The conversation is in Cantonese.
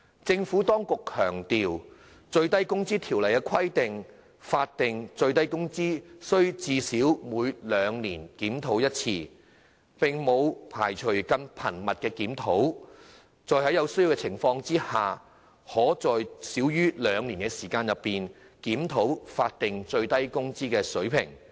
政府當局強調，《最低工資條例》規定，法定最低工資須最少每兩年檢討一次，並沒有排除更頻密的檢討，在有需要的情況下，可在少於兩年的時間內，檢討法定最低工資水平。